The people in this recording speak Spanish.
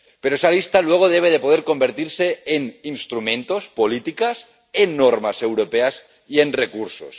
Pero esa lista, luego, debe poder convertirse en instrumentos, políticas, en normas europeas y en recursos.